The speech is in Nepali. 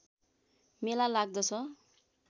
मेला लाग्दछ